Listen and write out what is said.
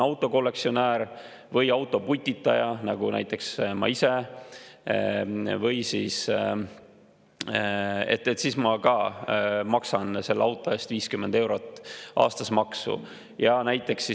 Autokollektsionäärid või autoputitajad maksavad ka nüüd sellise auto eest 50 eurot aastas maksu, nagu maksan näiteks ma ise.